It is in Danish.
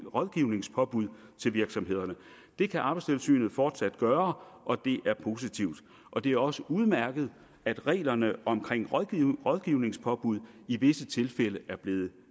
rådgivningspåbud til virksomhederne det kan arbejdstilsynet fortsat gøre og det er positivt og det er også udmærket at reglerne omkring rådgivningspåbud i visse tilfælde er blevet